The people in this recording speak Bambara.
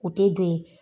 U tɛ don ye